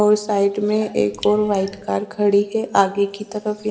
और साईट में एक और वाईट कार खड़ी है आगे कि तरफ--